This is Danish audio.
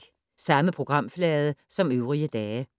Samme programflade som øvrige dage